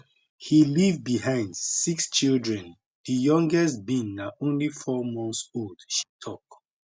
he leave behind six children di youngest being na only four months old she tok